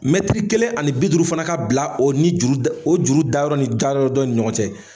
Mɛtiri kelen ani bi duuru fana ka bila o ni juru da o juru dayɔrɔ ni dayɔrɔ dɔ ni ɲɔgɔn cɛ.